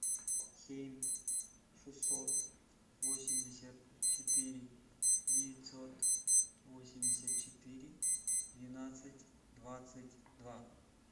семь шестьсот восемьдесят четыре девятьсот восемьдесят четыре двенадцать двадцать два